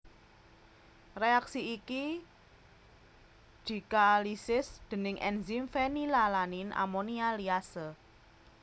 Reaksi iki dikaalisis déning enzim fenilalanin amonia liase